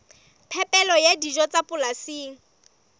phepelo ya dijo tsa polasing